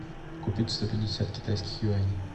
купить сто пятьдесят китайских юаней